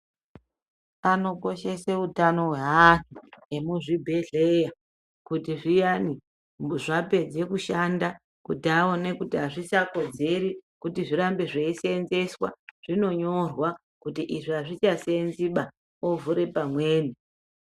Anokoshese utano hwaanhu vemuzvibhedhleya kuti zviyani zvapedze kushanda kuti aone kuti hazvichakodzeri kuti zvirambe zveiseenzeswa, zvinonyorwa kuti izvi hazvichaseenziba, ovhure pamweni.